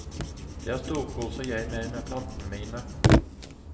Der storkoser jeg meg med plantene mine.